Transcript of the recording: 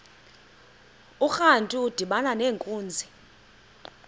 urantu udibana nenkunzi